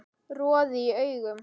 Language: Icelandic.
Roði í augum